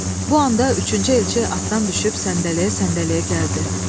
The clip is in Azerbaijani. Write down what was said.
Bu anda üçüncü elçi atdan düşüb səndələyə-səndələyə gəldi.